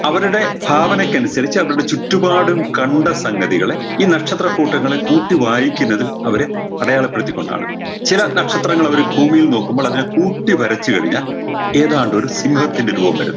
അവരുടെ ഭാവനക്കനുസരിച്ച് അവരുടെ ചുറ്റുപാടും കണ്ട സംഗതികളെ ഈ നക്ഷത്രക്കൂട്ടങ്ങളെ കൂട്ടി വായിക്കുന്നതിൽ അവരെ അടയാളപ്പെടുത്തിക്കൊണ്ടാണ് ചില നക്ഷത്രങ്ങൾ അവര് ഭൂമിയിൽന്ന് നോക്കുമ്പോൾ അതിന കൂട്ടി വരച്ച് കൈനാൽ ഏതാണ്ടൊരു സിംഹത്തിൻറെ രൂപം വരുന്നു